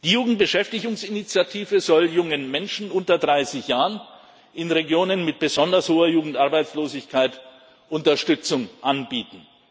Die Jugendbeschäftigungsinitiative soll jungen Menschen unter 30 Jahren in Regionen mit besonders hoher Jugendarbeitslosigkeit Unterstützung anbieten.